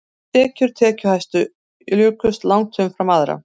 Tekjur tekjuhæstu jukust langt umfram annarra